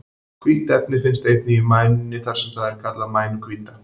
Hvítt efni finnst einnig í mænunni þar sem það er kallað mænuhvíta.